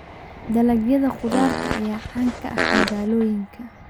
Dalagyada khudaarta ayaa caan ka ah magaalooyinka.